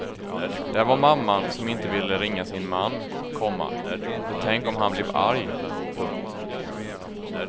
Där var mamman som inte ville ringa sin man, komma för tänk om han blev arg. punkt